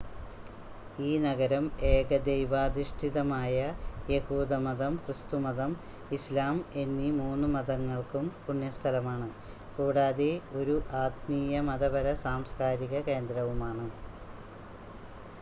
ഈ നഗരം ഏകദൈവാധിഷ്ഠിതമായ യഹൂദമതം ക്രിസ്തുമതം ഇസ്‌ലാം എന്നീ 3 മതങ്ങൾക്കും പുണ്യസ്ഥലമാണ് കൂടാതെ ഒരു ആത്മീയ മതപര സാംസ്കാരിക കേന്ദ്രവുമാണ്